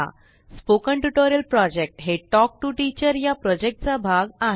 spoken tutorial project हा talk to teacher या प्रोजेक्टचा एक भाग आहे